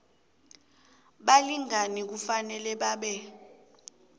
balingani kufanele babe